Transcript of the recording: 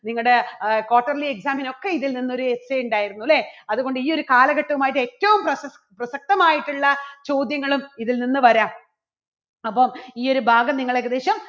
നിങ്ങടെ ആഹ് quarterly exam ന് ഒക്കെ ഇതിൽനിന്ന് ഒരു essay ഉണ്ടായിരുന്നു അല്ലേ? അതുകൊണ്ട് ഈ ഒരു കാലഘട്ടവും ആയിട്ട് ഏറ്റവും പ്രസ~പ്രസക്തമായിട്ടുള്ള ചോദ്യങ്ങളും ഇതിൽ നിന്ന് വരാം. അപ്പം ഈ ഒരു ഭാഗം നിങ്ങൾ ഏകദേശം